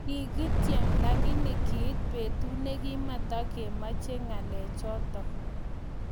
Kikitchem lakini kiit betut nekimatamechei ngalek chotok.